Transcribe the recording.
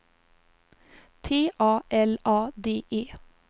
T A L A D E